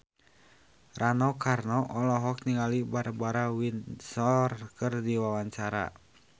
Rano Karno olohok ningali Barbara Windsor keur diwawancara